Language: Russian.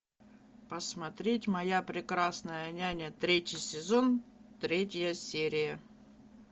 посмотреть моя прекрасная няня третий сезон третья серия